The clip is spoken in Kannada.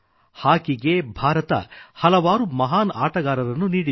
ಹಾಕಿ ಗೆ ಭಾರತ ಹಲವಾರು ಮಹಾನ್ ಆಟಗಾರರನ್ನೂ ನೀಡಿದೆ